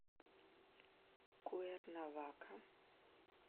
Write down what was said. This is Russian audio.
куэрнавака